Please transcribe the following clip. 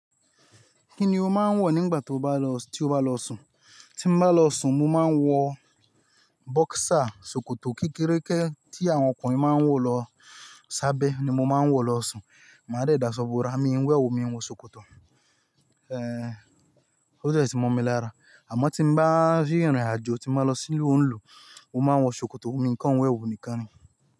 Kí ni o máa ń wọ̀ nígbà tí o bá lọ sùn? Tí mo bá lọ sùn, mo máa ń wọ bóksà, ṣòkòtò kékeré tí àwọn ọkùnrin máa ń wọ̀ lọ sábẹ́ ni mo máa ń wọ̀ lọ sùn. Màá dà ẹ dáṣọ búra, mi ń wọ ẹwù mo ń wọ ṣòkòtò. Ó dee ti mọ̀ mi lára. Àmọ́ tí n bá rí ìrìnàjò, tí mo bá lọ sí ìlú ńlú, mo máa ń wọ ṣòkòtò, mo ní nǹkan wẹ ẹwù nìkan ni.